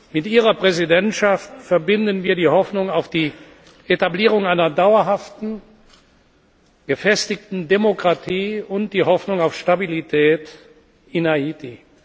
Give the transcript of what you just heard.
Mit Ihrer Präsidentschaft verbinden wir die Hoffnung auf die Etablierung einer dauerhaften, gefestigten Demokratie und die Hoffnung auf Stabilität in Haiti.